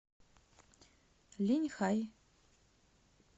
линьхай